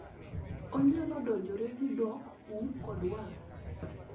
onyalo donjore gi dhok, um kod wang'